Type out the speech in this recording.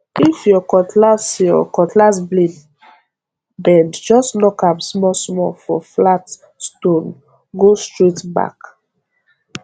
if your cutlass your cutlass blade bend just knock am smallsmall for flat stonee go straight back